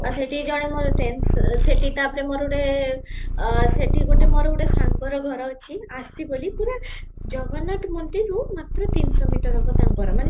ସେଠି ଜଣେ ମୋର friends, ସେଠି ତା ପରେ ମୋର ଗୋଟେ ଅ, ସେଠି ମୋର ଗୋଟେ ସାଙ୍ଗର ଘର ଅଛି ଆସି ବୋଲି ପୁରା ଜଗନ୍ନାଥ ମନ୍ଦିର ରୁ ମାତ୍ର ତିନିସହ metre ହବ ତାଙ୍କର ମାନେ